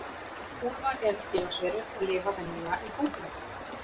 Úlfar eru félagsverur og lifa venjulega í hópum.